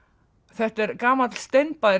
þetta er gamall